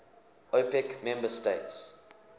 opec member states